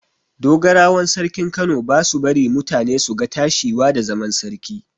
Dogarawan sarkin Kano ba su bari mutane su ga tashiwa da zaman sarki.